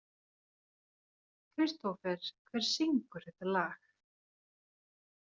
Kristófer, hver syngur þetta lag?